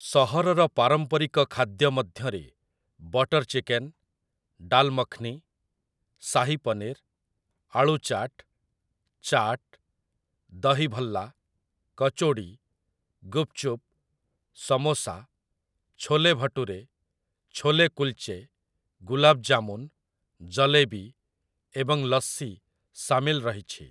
ସହରର ପାରମ୍ପରିକ ଖାଦ୍ୟ ମଧ୍ୟରେ ବଟର୍ ଚିକେନ୍, ଡାଲ୍ ମଖ୍‌ନୀ, ଶାହୀ ପନୀର୍, ଆଳୁ ଚାଟ୍, ଚାଟ୍, ଦହି ଭଲ୍ଲା, କଚୋଡ଼ି, ଗୁପ୍ ଚୁପ୍, ସମୋସା, ଛୋଲେ ଭଟୁରେ, ଛୋଲେ କୁଲ୍‌ଚେ, ଗୁଲାବ୍ ଜାମୁନ୍, ଜଲେବି ଏବଂ ଲସ୍ସି ସାମିଲ ରହିଛି ।